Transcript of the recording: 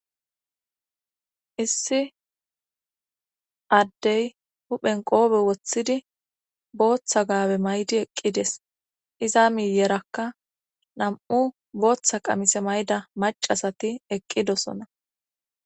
Issi addey huphen qoobe woththidi booththa gaabe maydi eqqides iza miyerakka nam7u booththa qamise mayda macasati eqqidosona